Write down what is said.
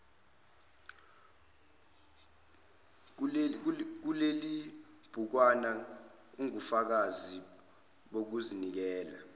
kulelibhukwana ungubufakazi bokuzinikela